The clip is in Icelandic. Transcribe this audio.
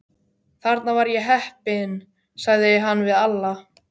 Þarna var ég heppinn, sagði hann við Alla.